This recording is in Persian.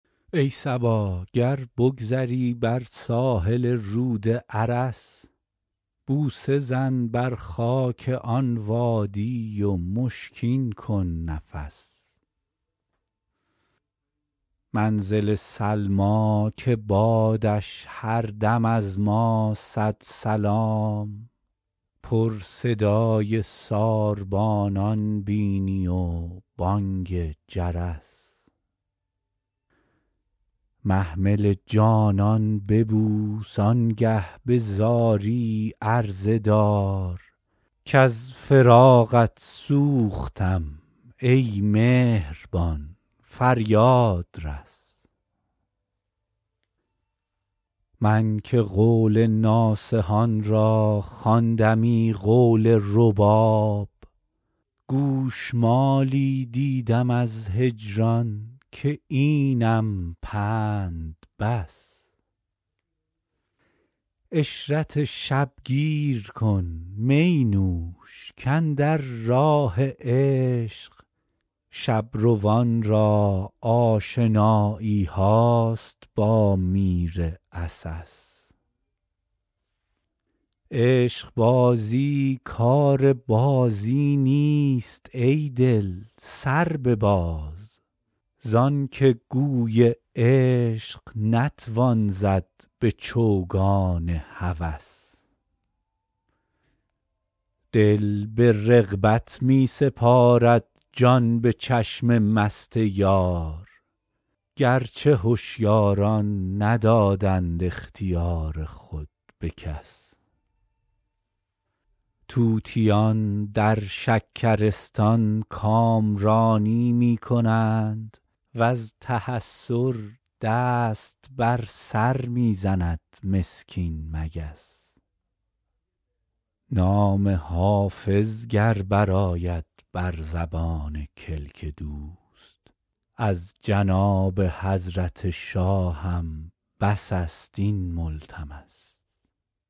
ای صبا گر بگذری بر ساحل رود ارس بوسه زن بر خاک آن وادی و مشکین کن نفس منزل سلمی که بادش هر دم از ما صد سلام پر صدای ساربانان بینی و بانگ جرس محمل جانان ببوس آن گه به زاری عرضه دار کز فراقت سوختم ای مهربان فریاد رس من که قول ناصحان را خواندمی قول رباب گوش مالی دیدم از هجران که اینم پند بس عشرت شب گیر کن می نوش کاندر راه عشق شب روان را آشنایی هاست با میر عسس عشق بازی کار بازی نیست ای دل سر بباز زان که گوی عشق نتوان زد به چوگان هوس دل به رغبت می سپارد جان به چشم مست یار گر چه هشیاران ندادند اختیار خود به کس طوطیان در شکرستان کامرانی می کنند و از تحسر دست بر سر می زند مسکین مگس نام حافظ گر برآید بر زبان کلک دوست از جناب حضرت شاهم بس است این ملتمس